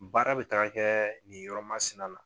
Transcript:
Baara bɛ taga kɛ nin yɔrɔ masina na